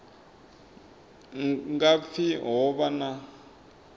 nga pfi ho vha na